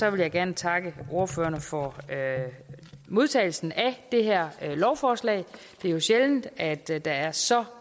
jeg gerne takke ordførerne for modtagelsen af det her lovforslag det er jo sjældent at der er så